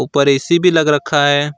ऊपर ए_सी भी लग रखा है।